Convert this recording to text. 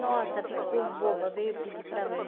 Nossa, ficou boba, veio pedir para mim.